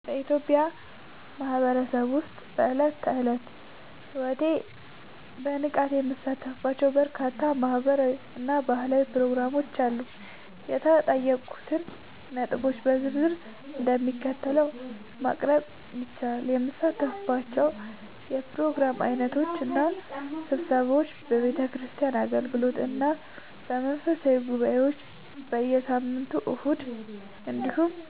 በኢትዮጵያ ማህበረሰብ ውስጥ በዕለት ተዕለት ሕይወቴ በንቃት የምሳተፍባቸው በርካታ ማህበራዊ እና ባህላዊ ፕሮግራሞች አሉ። የተጠየቁትን ነጥቦች በዝርዝር እንደሚከተለው ማቅረብ ይቻላል፦ የምሳተፍባቸው የፕሮግራም ዓይነቶች እና ስብሰባዎች፦ የቤተክርስቲያን አገልግሎቶች እና መንፈሳዊ ጉባኤዎች፦ በየሳምንቱ እሁድ እንዲሁም